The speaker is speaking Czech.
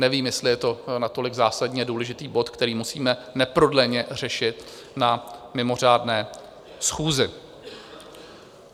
Nevím, jestli je to natolik zásadně důležitý bod, který musíme neprodleně řešit na mimořádné schůzi.